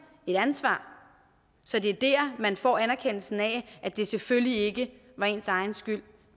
et ansvar så det er der man får anerkendelsen af at det selvfølgelig ikke var ens egen skyld